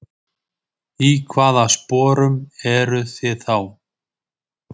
Í hvaða sporum eruð þið þá?